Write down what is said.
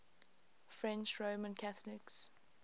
french roman catholics